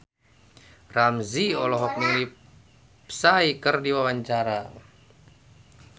Ramzy olohok ningali Psy keur diwawancara